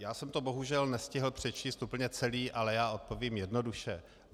Já jsem to bohužel nestihl přečíst úplně celé, ale já odpovím jednoduše.